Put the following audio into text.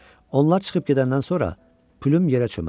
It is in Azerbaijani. Onlar çıxıb gedəndən sonra Plym yerə çöməldi.